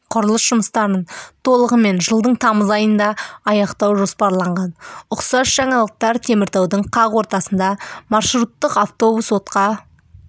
құрылыс жұмыстарын толығымен жылдың тамыз айында аяқтау жоспарланған ұқсас жаңалықтар теміртаудың қақ ортасында маршруттық автобус отқа